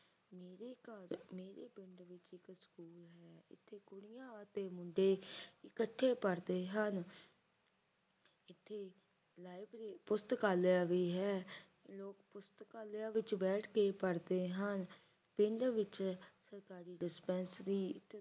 ਨਵਾਬਾਂ ਦੇ ਮੁੰਡੇ ਇਕੱਠੇ ਪੜ੍ਹਦੇ ਹਨ ਅਤੇ ਪੁਸਤਕਾਲੇ ਵੀ ਹੈ ਪੁਸਤਕਾਲੇ ਵਿੱਚ ਬਹਿ ਕੇ ਪੜ੍ਹਦੇ ਹਨ ਪਿੰਡ ਵਿੱਚ ਸਰਕਾਰੀ ਡਿਸਪੈਂਸਰੀ